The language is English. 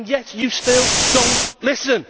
Yet you still do not listen.